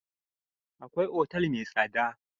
Akwai otal mai tsada.